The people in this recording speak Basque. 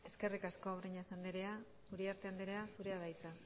eskerrik asko breñas andrea uriarte andrea zurea da hitza